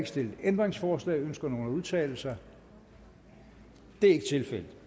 stillet ændringsforslag ønsker nogen at udtale sig det er ikke tilfældet